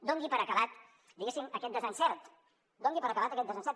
doni per acabat diguéssim aquest desencert doni per acabat aquest desencert